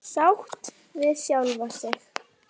Sátt við sjálfa sig.